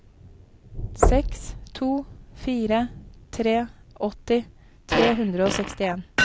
seks to fire tre åtti tre hundre og sekstien